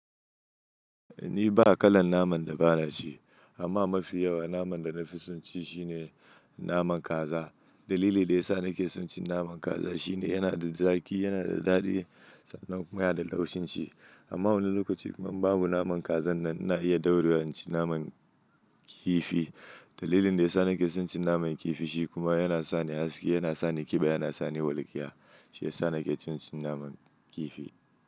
Ni ba kalan naman da ba na ci, amma mafi yawa naman da na fi son ci shine naman kaza. Dalili da ya sa na ke son cin naman kaza shine yana da zaƙi, yana da daɗi sannan kuma yana da laushin ci. Amma wani lokaci kuma in babu naman kazan nan ina iya daurewa na ci naman kifi. Dalilin da ya sa na ke son cin naman kifi shi kuma yana sa ni haske, yana sa ni kiba, yana sa ni walƙiya. Shi ya sa na ke cin cin naman kifi.